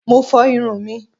Mo fo irun mí.